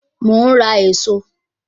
Mo ń rà èso